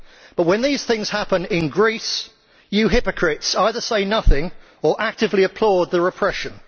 But when these things happen in Greece, you hypocrites either say nothing or actively applaud the repression.